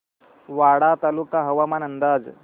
वाडा तालुका हवामान अंदाज